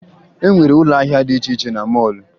E nwere ụlọ ahịa dị iche iche na mọọlụ